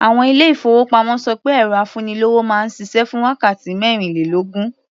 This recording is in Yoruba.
Àwọn ilé-ìfowópamọ́ ṣọ pé ẹ̀rọ afúnilówó máa ń ṣiṣẹ́ fún wákàtí mẹ́rìnlélógún.